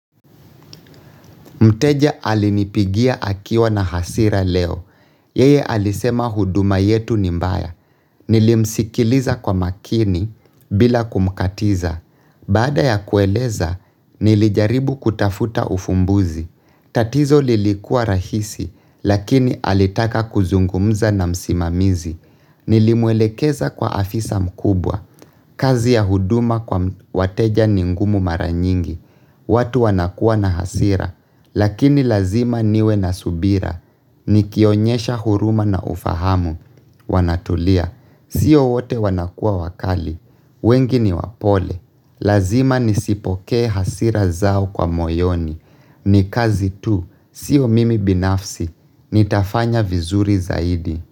Mteja alinipigia akiwa na hasira leo. Yeye alisema huduma yetu ni mbaya. Nilimsikiliza kwa makini bila kumkatiza. Baada ya kueleza, nilijaribu kutafuta ufumbuzi. Tatizo lilikua rahisi, lakini alitaka kuzungumza na msimamizi. Nilimwelekeza kwa afisa mkubwa, kazi ya huduma kwa wateja ni ngumu mara nyingi watu wanakua na hasira, lakini lazima niwe na subira Nikionyesha huruma na ufahamu, wanatulia, sio wote wanakua wakali wengi ni wapole, lazima nizipoke hasira zao kwa moyoni ni kazi tu, sio mimi binafsi, nitafanya vizuri zaidi.